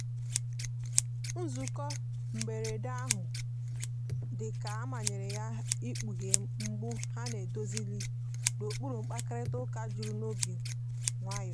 nzụko mgberede ahụ dika a manyere yaịkpughe mgbụ ha na‐edozilighi n'okpuru mkparịta uka juru n'obi nwayo.